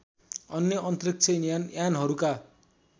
अन्य अन्तरिक्ष यानहरूका